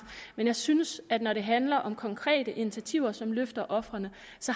men jeg synes at når det handler om konkrete initiativer som løfter ofrene